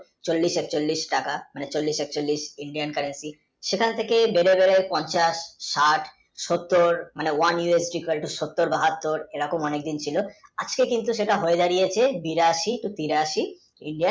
চল্লিশ একচল্লিশ টাকা একচল্লিশ টাকা একচল্লিশ Indian, currency সেখান থেকে ধীরে ধীরে পঞ্চাশ ষাট ষোত্তর মানে oneUSDequal, to ষোত্তর বাহাত্তর এ রকম অনেক দিন ছিল আজকে কিন্তু যা হয়ে দাড়িয়েছে বিরাশী তিরাশী